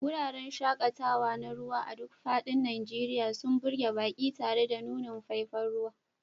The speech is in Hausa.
Wuraren shaƙatawa na ruwa a duk faɗin Najeriya sun burge baƙi tare da nunin faifan ruwa.